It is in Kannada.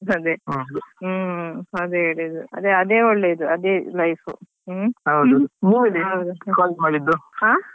ಅದೇ ಹೇಳಿದ್ದು ಅದೇ ಅದೇ ಒಳ್ಳೇದು ಅದೇ life ಹ್ಮ್.